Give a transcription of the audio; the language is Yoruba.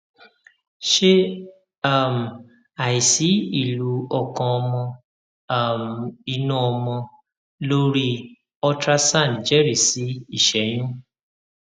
ṣé um àìsí ìlù ọkàn ọmọ um inú ọmọ lórí ultrasound jẹrìí sí ìṣẹyún